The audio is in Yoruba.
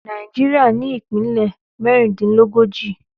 Nàìjíríà ní ìpínlẹ̀ mẹ́rìndínlógójì.